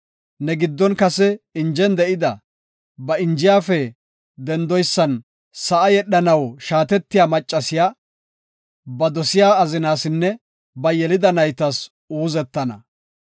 Ne giddon kase injen de7ida, ba injiyafe dendoysan sa7a yedhanaw shaatetiya maccasiya, ba dosiya azinaasinne ba yelida naytas uuzettana.